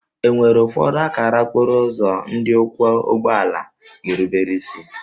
E nwere ụfọdụ akara okporo ụzọ ndị ọkwọ ụgbọ ala ga-erubere isi